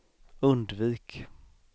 undvik